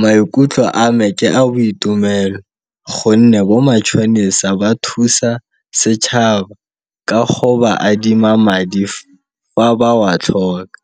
Maikutlo a me ke a boitumelo gonne bo matšhonisa ba thusa setšhaba ka go ba adima madi fa ba wa tlhoka,